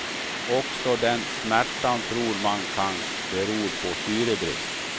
Också den smärtan tror man kan beror på syrebrist.